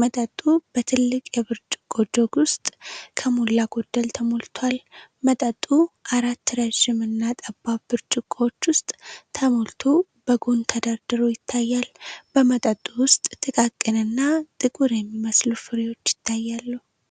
መጠጡ በትልቅ የብርጭቆ ጀግ ውስጥ ከሞላ ጎደል ተሞልቷል። መጠጡ አራት ረዥም እና ጠባብ ብርጭቆዎች ውስጥ ተሞልቶ በጎን ተደርድሮ ይታያል። በመጠጡ ውስጥ ጥቃቅን እና ጥቁር የሚመስሉ ፍሬዎች ይታያሉ።